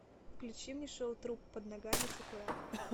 включи мне шоу труп под ногами сакурако